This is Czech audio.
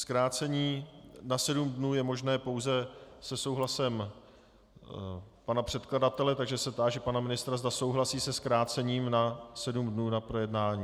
Zkrácení na sedm dnů je možné pouze se souhlasem pana předkladatele, takže se táži pana ministra, zda souhlasí se zkrácením na sedm dnů na projednání.